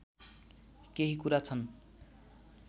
केही कुरा छन्